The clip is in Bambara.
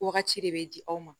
Wagati de bɛ di aw ma